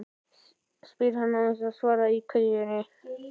spyr hann, án þess að svara kveðjunni.